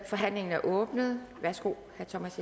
forhandlingen er åbnet værsgo herre thomas